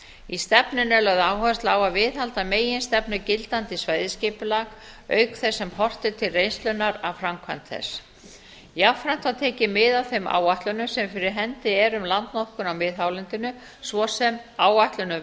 í stefnunni er lögð áhersla á að viðhalda meginstefnu gildandi svæðisskipulags auk þess sem horft er til reynslunnar framkvæmd þess jafnframt var tekið mið af þeim áætlunum sem fyrir hendi eru í landnotkun á miðhálendinu svo sem áætlun um